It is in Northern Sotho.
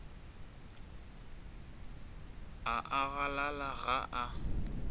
a a galala ga a